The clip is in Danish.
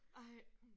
Ej